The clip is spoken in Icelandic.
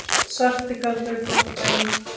Svarti galdur er gott dæmi.